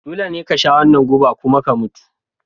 Dole ne ka sha wannan guba kuma ka mutu!